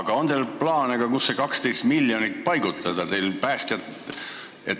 Aga kas teil on ka plaane, kuhu see 12 miljonit paigutada?